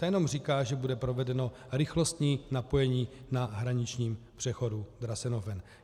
Ta jenom říká, že bude provedeno rychlostní napojení na hraničním přechodu Drasenhofen.